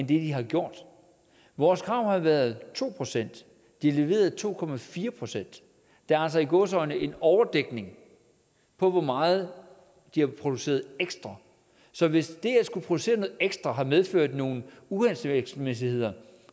de har gjort vores krav har været to procent de leverede to procent der er altså i gåseøjne en overdækning på hvor meget de har produceret ekstra så hvis det at skulle producere noget ekstra har medført nogle uhensigtsmæssigheder